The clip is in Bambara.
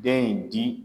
Den in di